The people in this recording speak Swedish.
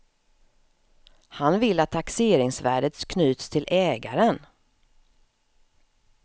Han vill att taxeringsvärdet knyts till ägaren.